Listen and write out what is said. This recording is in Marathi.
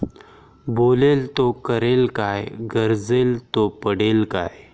बोलेल तो करेल काय? गरजेला तो पडेल काय?